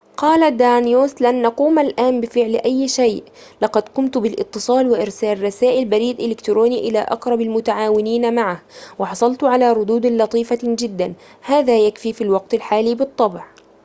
قال دانيوس لن نقوم الآن بفعل أي شيء لقد قمت بالاتصال وإرسال رسائل بريد إلكتروني إلى أقرب المتعاونين معه وحصلت على ردود لطيفة جدًا هذا يكفي في الوقت الحالي بالطبع